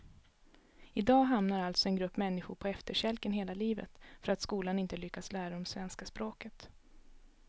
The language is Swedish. I dag hamnar alltså en grupp människor på efterkälken hela livet för att skolan inte lyckats lära dem svenska språket.